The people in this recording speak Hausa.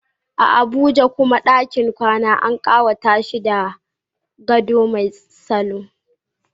A Abuja kuwa, dakin kwana an kawata shi da gado mai salo.